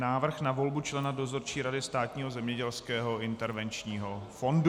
Návrh na volbu člena Dozorčí rady Státního zemědělského intervenčního fondu